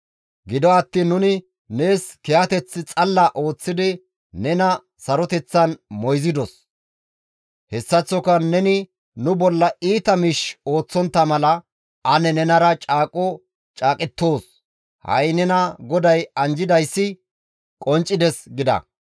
Gido attiin nuni nees kiyateth xalla ooththidi nena saroteththan moyzidos; hessaththoka neni nu bolla iita miish ooththontta mala ane nenara caaqo caaqettoos; ha7i nena GODAY anjjidayssi qonccides» gida.